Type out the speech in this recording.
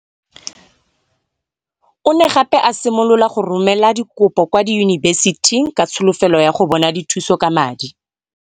O ne gape a simolola go romela dikopo kwa diyunibesithing ka tsholofelo ya go bona dithuso ka madi.